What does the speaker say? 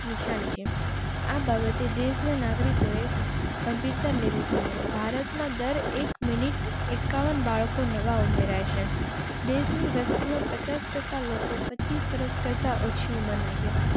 નિશાની છે. આ બાબતે દેશ ના નાગરિકો ગંભીરતા લેવી જોઈએ. ભારત માં દર એક minute એકાવન બાળકો નવા ઉમેરાય છે. દેશ ની વસતી માં પચાસ ટકા લોકો પચીસ વર્ષ કરતાં ઓછી ઉંમર ના